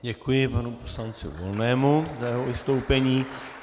Děkuji panu poslanci Volnému za jeho vystoupení.